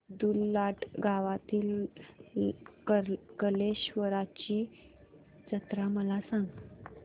अब्दुललाट गावातील कलेश्वराची जत्रा मला सांग